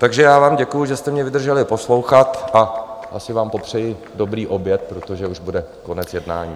Takže já vám děkuju, že jste mě vydrželi poslouchat, a asi vám popřeju dobrý oběd, protože už bude konec jednání.